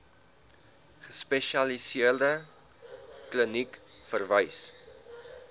gespesialiseerde kliniek verwys